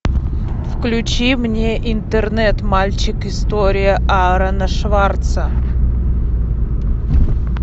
включи мне интернет мальчик история аарона шварца